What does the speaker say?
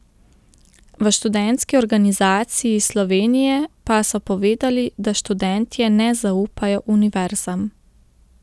V Študentski organizaciji Slovenije pa so povedali, da študentje ne zaupajo univerzam.